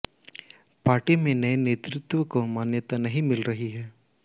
party में नए नेतृत्व को मान्यता नहीं मिल रही है